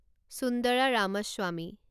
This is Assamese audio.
সুন্দাৰা ৰামাস্বামী